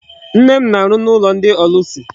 Nne m na-arụ n'ụlọ ndị ọlụsị.